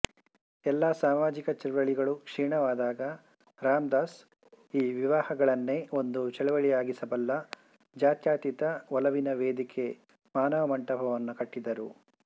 ಎಲ್ಲಾ ಸಾಮಾಜಿಕ ಚಳವಳಿಗಳೂ ಕ್ಷೀಣವಾದಾಗ ರಾಮದಾಸ್ ಈ ವಿವಾಹಗಳನ್ನೇ ಒಂದು ಚಳವಳಿಯಾಗಿಸಬಲ್ಲ ಜಾತ್ಯತೀತ ಒಲವಿನ ವೇದಿಕೆ ಮಾನವ ಮಂಟಪವನ್ನು ಕಟ್ಟಿದರು